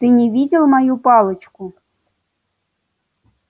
ты не видел мою палочку